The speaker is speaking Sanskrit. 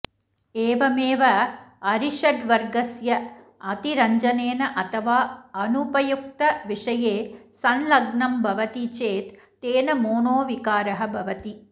एवमेव अरिषड्वर्गस्य अतिरञ्जनेन अथवा अनुपयुक्तविषये संलग्नं भवति चेत् तेन मोनोविकारः भवति